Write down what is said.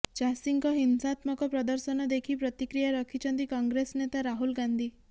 ଚାଷୀଙ୍କ ହିଂସାତ୍ମକ ପ୍ରଦର୍ଶନ ଦେଖି ପ୍ରତିକ୍ରିୟା ରଖିଛନ୍ତି କଂଗ୍ରେସ ନେତା ରାହୁଲ ଗାନ୍ଧି